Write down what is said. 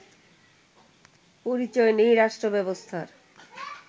পরিচয় নেই রাষ্ট্রব্যবস্থার